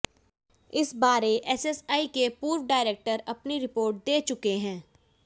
इस बारे एएसआई के पूर्व डायरेक्टर अपनी रिपोर्ट दे चुके हैं